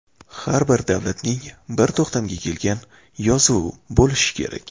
Har bir davlatning bir to‘xtamga kelgan yozuvi bo‘lishi kerak.